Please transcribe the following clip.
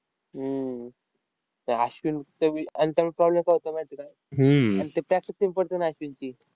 हम्म त्या अश्विन त्यावेळी problem काय होतो माहिती आहे का? आन ते पडतं ना अश्विनची.